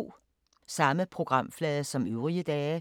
Samme programflade som øvrige dage